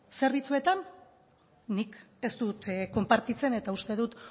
zerbitzuetan nik ez dut konpartitzen eta uste dut